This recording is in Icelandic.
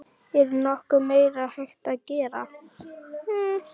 Er nokkuð meira hægt að gera?